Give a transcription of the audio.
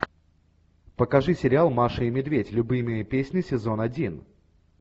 покажи сериал маша и медведь любимые песни сезон один